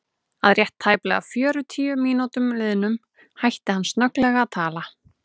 Að rétt tæplega fjörutíu mínútum liðnum hætti hann snögglega að tala.